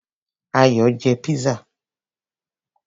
Ayò jẹ pizza.